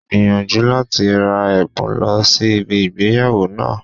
Gbìyànjú láti ra èbùn lọ sí ibi ìgbéyàwó náà